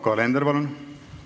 Yoko Alender, palun!